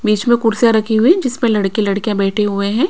बीच में कुर्सियां रखी हुई जिसमें लड़के लड़कियां बैठे हुए हैं।